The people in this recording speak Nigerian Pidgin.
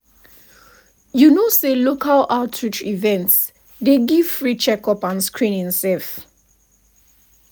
for outreach events i dey ask all my health questions with questions with clear eyes.